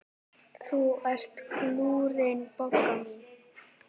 Þú ert glúrin, Bogga mín.